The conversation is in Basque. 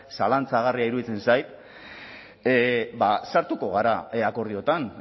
zalantzagarria iruditzen zait sartuko gara akordioetan